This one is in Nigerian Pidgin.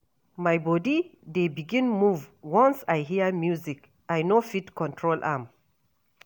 My bodi dey begin move once I hear music, I no fit control am.